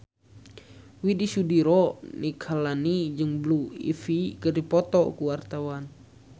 Widy Soediro Nichlany jeung Blue Ivy keur dipoto ku wartawan